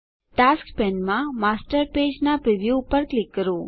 tasks પેનમાં master page નાં preview પર ક્લિક કરો